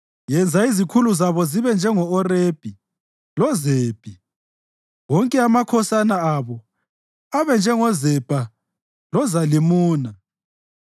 Yenza izikhulu zabo zibe njengo-Orebhi loZebhi, wonke amakhosana abo abe njengoZebha loZalimuna,